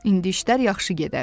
İndi işlər yaxşı gedər.